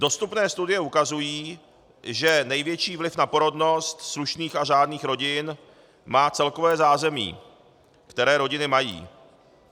Dostupné studie ukazují, že největší vliv na porodnost slušných a řádných rodin má celkové zázemí, které rodiny mají.